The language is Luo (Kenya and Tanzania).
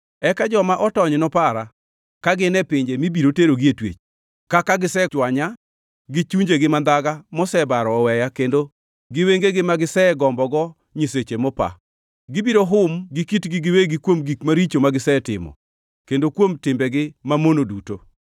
Eka joma otony nopara, ka gin e pinje mibiro terogie twech, kaka gisechwanya gi chunjegi mandhaga mosebaro oweya kendo gi wengegi ma gisegombogo nyiseche mopa. Gibiro hum gi kitgi giwegi kuom gik maricho magisetimo kendo kuom timbegi mamono duto.